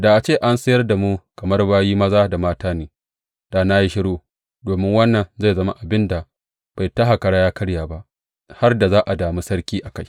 Da a ce an sayar da mu kamar bayi maza da mata ne, da na yi shiru, domin wannan zai zama abin da bai taka kara ya karye ba, har da za a dami sarki a kai.